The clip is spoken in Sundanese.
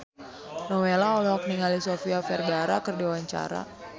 Nowela olohok ningali Sofia Vergara keur diwawancara